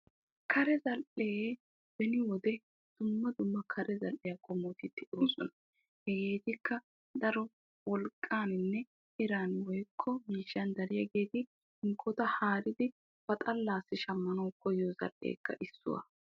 Kare zal'ee beni wode dumma dummabatti de'osonna hegeekka wolqqan dariyagetti haratta shammanna koyyiyo zal'iya.